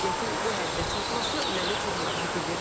Vəziyyətin bu həddə çatması məni çox narahat edir.